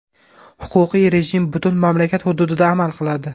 Huquqiy rejim butun mamlakat hududida amal qiladi.